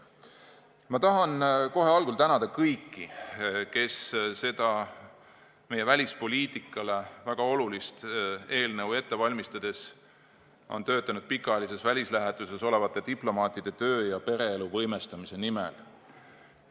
Ma tahan kohe algul tänada kõiki, kes seda meie välispoliitikale väga olulist eelnõu ette valmistades on töötanud pikaajalises välislähetuses olevate diplomaatide töö- ja pereelu võimestamise nimel.